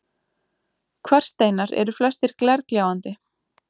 Kvarssteinar eru flestir glergljáandi